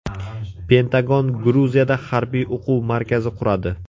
Pentagon Gruziyada harbiy o‘quv markazi quradi.